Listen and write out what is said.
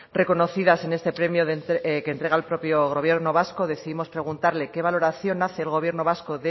reconocidas en este premio que entrega el propio gobierno vasco décimos preguntarles qué valoración hace el gobierno vasco